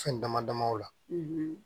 Fɛn dama dama o la